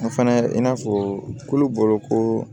An fana i n'a fɔ kulu bɔ ko